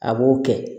A b'o kɛ